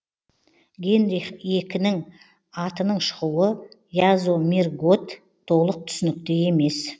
генрих екінің атының шығуы язомирготт толық түсінікті емес